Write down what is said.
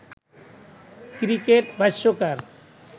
cricket ভাষ্যকার